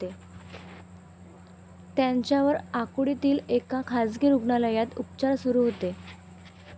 त्यांच्यावर आकुर्डीतील एका खासगी रूग्णालयात उपचार सुरु होते.